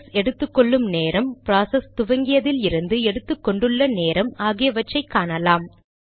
process எடுத்துகொள்ளும் நேரம் process துவங்கியதிலிருந்து எடுத்துக்கொண்டுள்ள நேரம் ஆகியவற்றை காணலாம்